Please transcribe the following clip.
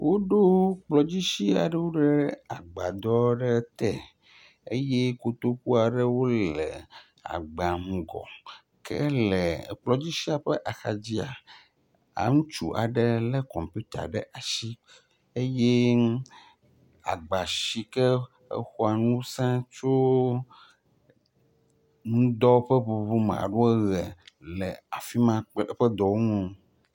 Wo ɖo kplɔdzisi aɖewo ɖe agbadɔ te eye kotoku aɖewo le agba mɔ ke le kplɔdzisia ƒe axadzia, aŋutsu aɖe le computer ɖe asi eye agba sike exɔa ŋuse tso ŋdɔ ƒe ʋuʋu me alo eɣe le afima ƒe dɔwɔn uwo.